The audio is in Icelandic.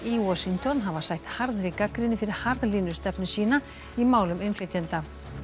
Washington hafa sætt harðri gagnrýni fyrir harðlínustefnu sína í málum innflytjenda